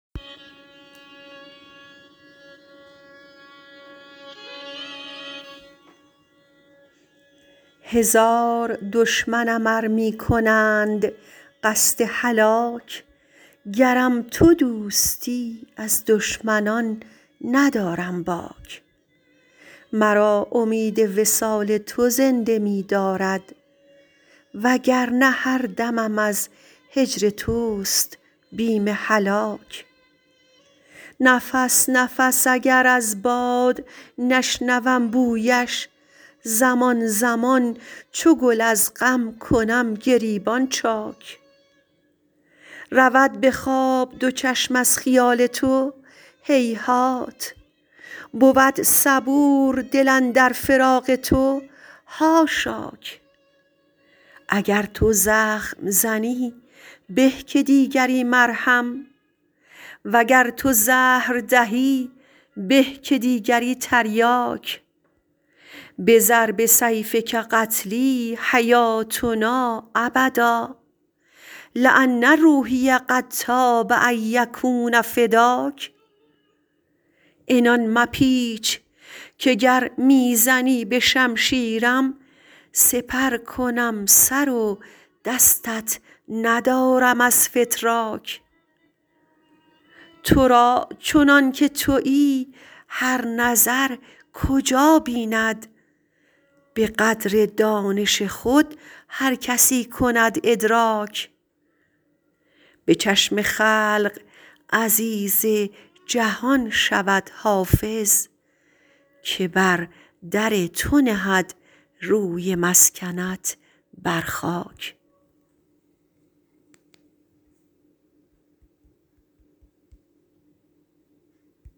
هزار دشمنم ار می کنند قصد هلاک گرم تو دوستی از دشمنان ندارم باک مرا امید وصال تو زنده می دارد و گر نه هر دمم از هجر توست بیم هلاک نفس نفس اگر از باد نشنوم بویش زمان زمان چو گل از غم کنم گریبان چاک رود به خواب دو چشم از خیال تو هیهات بود صبور دل اندر فراق تو حاشاک اگر تو زخم زنی به که دیگری مرهم و گر تو زهر دهی به که دیگری تریاک بضرب سیفک قتلی حیاتنا ابدا لأن روحی قد طاب ان یکون فداک عنان مپیچ که گر می زنی به شمشیرم سپر کنم سر و دستت ندارم از فتراک تو را چنان که تویی هر نظر کجا بیند به قدر دانش خود هر کسی کند ادراک به چشم خلق عزیز جهان شود حافظ که بر در تو نهد روی مسکنت بر خاک